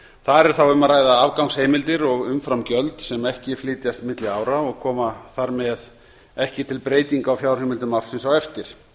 þar er þá um að ræða afgangsheimildir og umframgjöld sem ekki flytjast milli ára og koma þar með ekki til breytinga á fjárheimildum ársins á eftir